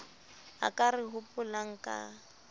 a ka re hopolang ka